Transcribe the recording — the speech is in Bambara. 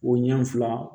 O ɲɛ fila